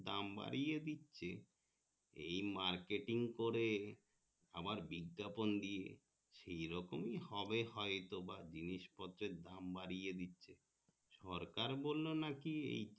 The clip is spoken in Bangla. দাম বাড়িয়ে দিচ্ছে এই marketing করে আমার বিজ্ঞাপন দিয়ে সি রকমই হবে হয়তো বা জিনিসপত্তের দাম বাড়িয়ে দিচ্ছে সরকার বললো নাকি